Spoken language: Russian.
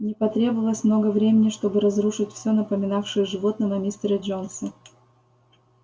не потребовалось много времени чтобы разрушить всё напоминавшее животного мистере джонса